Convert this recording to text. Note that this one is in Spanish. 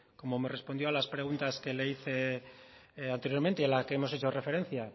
como me respondió a las preguntas que le hice anteriormente y a la que hemos hecho referencia